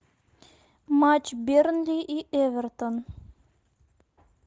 матч бернли и эвертон